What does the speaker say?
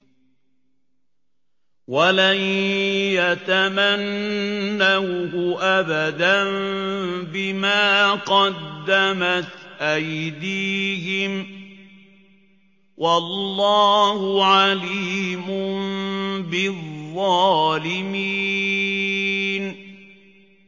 وَلَن يَتَمَنَّوْهُ أَبَدًا بِمَا قَدَّمَتْ أَيْدِيهِمْ ۗ وَاللَّهُ عَلِيمٌ بِالظَّالِمِينَ